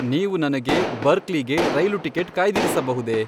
ನೀವು ನನಗೆ ಬರ್ಕ್ಲಿಗೆ ರೈಲು ಟಿಕೆಟ್ ಕಾಯ್ದಿರಿಸಬಹುದೇ?